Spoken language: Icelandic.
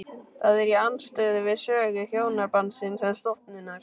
Það er í andstöðu við sögu hjónabandsins sem stofnunar.